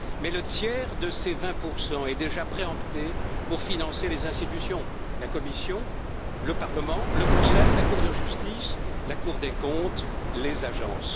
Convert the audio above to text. Mais le tiers de ces 20 est déjà préempté pour financer les institutions la Commission, le Parlement, le Conseil, la Cour de justice, la Cour des comptes, les agences.